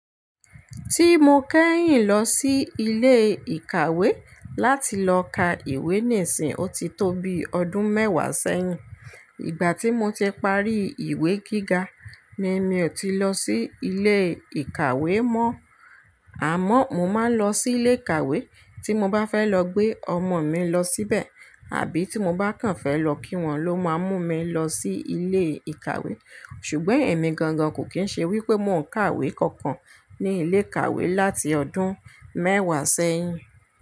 Tí mo kẹ́yìn lọ sí ilé ìkàwé láti lọ ka ìwé nísìń, ó ti tó bí ọdún mẹ́wàá sẹ́yìn. Ìgbà tí mo ti parí ìwé gíga ni mi ò ti lọ sí ilé ìkàwé mọ́. Àmọ́, mo máa ń lọ sí ilé ìkàwé tí mo bá fẹ́ lọ gbé ọmọ mi lọ síbẹ̀, àbí tí mo bá kàn fẹ́ lọ kí wọ́n ló máa mú mi lọ sí ilé ìkàwé. Ṣùgbọ́n èmi gangan kò kín ń ṣe wípé mo n kàwé kankan ní ilé ìkàwé láti ọdún mẹ́wàá sẹ́yìn.